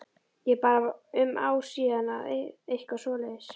Ég bara um ár síðan eða eitthvað svoleiðis?